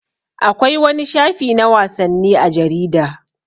Akwai wani shafi na wasanni a jarida.